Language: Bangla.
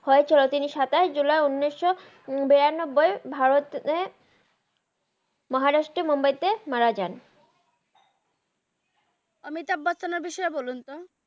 হইত তিনি সাতাস জুলাই উন্সিস বেরানাব্বাই ভারতে মাহারাস্ত্রের মুম্বাই তে মারা জান আমিতাভ বাচাআন এর বিষয়ে বলুন তো